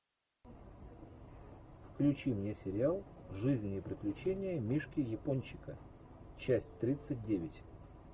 включи мне сериал жизнь и приключения мишки япончика часть тридцать девять